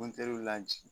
Mɔntɛriw la